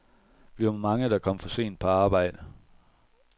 Vi var mange, der kom for sent på arbejde.